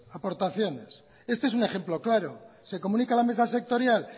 aportaciones este es un ejemplo claro se comunica a la mesa sectorial